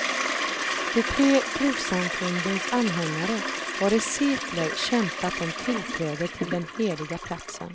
De tre trossamfundens anhängare har i sekler kämpat om tillträde till den heliga platsen.